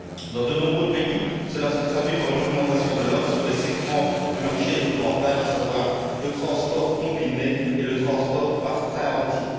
Dans de nombreux pays, cela se traduit par une augmentation de l'offre sur les segments du marché les plus rentables, à savoir le transport combiné et le transport par train entier.